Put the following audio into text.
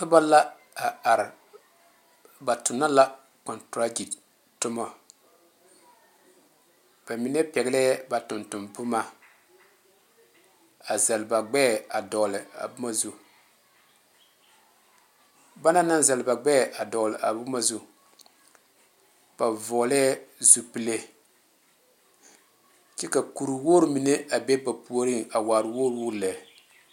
Noba la a are ba tuna la kontragi tuma ba mine pegle ba tonton boma a zeli ba gbeɛ a dogle a boma zu banaŋ naŋ zeli ba gbeɛ a dogle a boma zu ba vɔgle lɛɛ zupele kyɛ ka kur wogre mine a be ba puori a waa wogre wogre lɛ.